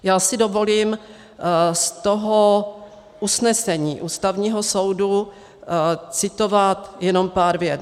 Já si dovolím z toho usnesení Ústavního soudu citovat jenom pár vět.